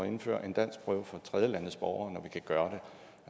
indføre en danskprøve for tredjelandes borgere når vi kan gøre